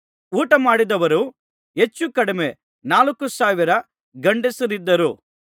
ಊಟಮಾಡಿದವರು ಹೆಚ್ಚುಕಡಿಮೆ ನಾಲ್ಕು ಸಾವಿರ ಗಂಡಸರಿದ್ದರು